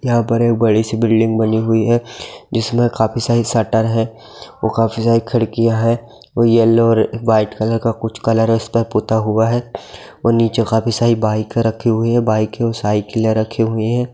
यहाँ पर एक बड़ी-सी बिल्डिंग बनी हुई हैं जिसमें काफी सारी शटर हैं और काफी सारी खिड़कियां है येल्लो और वाइट कलर का कुछ कलर इसपे पोता हुआ है और नीचे काफी सारी बाइके रखी हुई हैं बाइके और साइकिलें रखी हुई हैं।